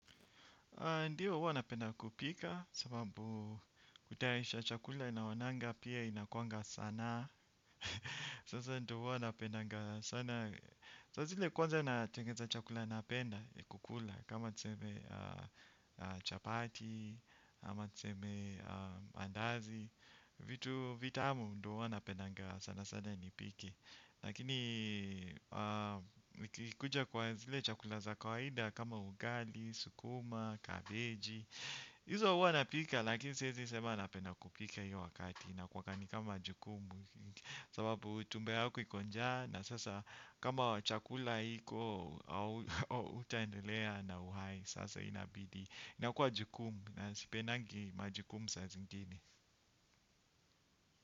Ndiyo huwa napenda kupika sababu kutayarisha chakula naonanga pia inakuanga sanaa. Sasa ndo huwa napendaga sanaa. Sasa zile kwanza natengeza chakula napenda nikikula. Kama tuseme chapati, ama niseme andazi. Vitu vitamu ndo huwa napendaga sana sana nipike. Lakini nikikuja kwa zile chakula za kawaida kama ugali, sukuma, kabeji hizo huwa napika lakini siezi sema napenda kupika hiyo wakati inkuanga ni kama jukumu. Sababu tumbo yako iko njaa na sasa kama chakula haiko. Utaendelea na uhai sasa inabidi nakua jukumu na sipenangi majukumu saa zingini.